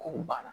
Kow banna